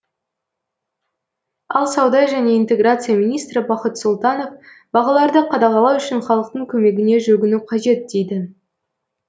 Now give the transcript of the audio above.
ал сауда және интеграция министрі бақыт сұлтанов бағаларды қадағалау үшін халықтың көмегіне жүгіну қажет дейді